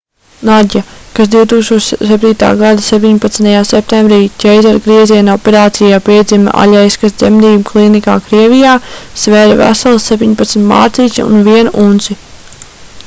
nadja kas 2007. gada 17. septembrī ķeizargrieziena operācijā piedzima aļeiskas dzemdību klīnikā krievijā svēra veselas 17 mārciņas un 1 unci